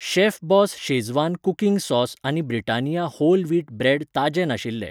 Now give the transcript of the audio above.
Chef Boss Schezwan cooking sauce आनी Britannia whole wheat bread ताजें नाशिल्ले.